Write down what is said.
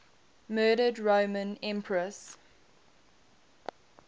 murdered roman empresses